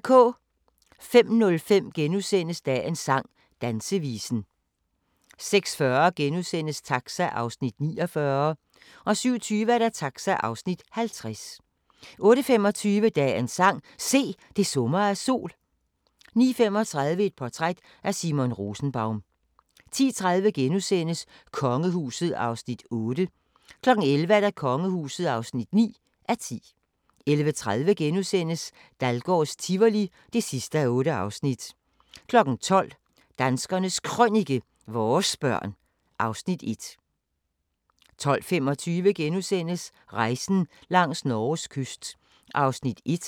05:05: Dagens sang: Dansevisen * 06:40: Taxa (49:56)* 07:20: Taxa (50:56) 08:25: Dagens sang: Se, det summer af sol 09:35: Et portræt af Simon Rosenbaum 10:30: Kongehuset (8:10)* 11:00: Kongehuset (9:10) 11:30: Dahlgårds Tivoli (8:8)* 12:00: Danskernes Krønike - vores børn (Afs. 1) 12:25: Rejsen langs Norges kyst (1:10)*